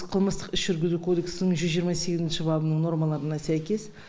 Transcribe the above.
қылмыстық іс жүргізу кодексінің жүз жиырма сегізінші бабының нормаларына сәйкес